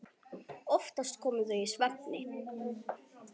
Oftast komu þau í svefni.